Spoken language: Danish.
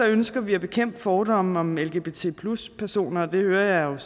ønsker vi at bekæmpe fordomme om lgbt personer og det hører jeg